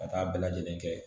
Ka taa bɛɛ lajɛlen kɛ